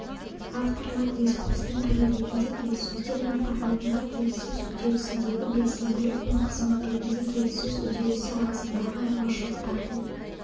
авторлар дискурстың түрі ретінде келіссөздер мен форматында келіссөз үдерісіндегі белсенділік пен қызмет ретінде келіссөз үдерісі арасындағы айырмашылықтарды